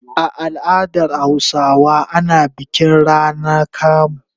A al'adar Hausawa ana bikin rana kamu.